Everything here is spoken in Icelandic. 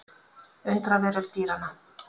Undraveröld dýranna.